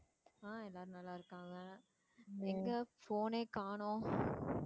அஹ் எல்லாரும் நல்லா இருக்காங்க. எங்க phone ஏ காணும்.